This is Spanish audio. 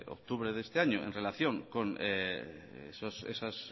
octubre de este año en relación con esas